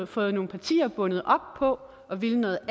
fået nogle partier bundet op på at ville noget